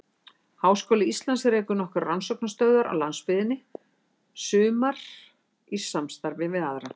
Háskóli Íslands rekur nokkrar rannsóknastöðvar á landsbyggðinni, sumar í samstarfi við aðra.